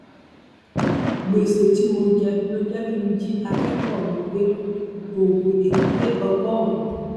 gbèsè tí mo jẹ ló jẹ kí n jí akẹkọọ mi gbé oògùn èkúté ọgọrùn